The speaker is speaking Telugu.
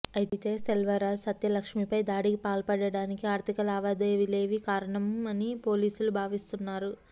అయితే సెల్వరాజ్ సత్యలక్ష్మీపై దాడికి పాల్పడటానికి ఆర్థిక లావాదేవీలే కారణమని పోలీసులు భావిస్తున్నారు